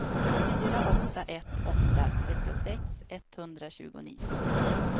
fyra åtta ett åtta trettiosex etthundratjugonio